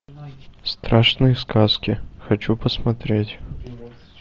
страшные сказки хочу посмотреть